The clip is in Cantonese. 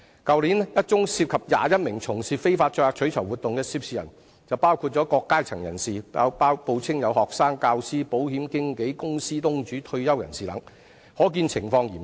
去年一宗涉及21名從事非法載客取酬活動的涉事人來自不同階層，他們分別報稱是學生、教師、保險經紀、公司東主及退休人士等，可見情況嚴重。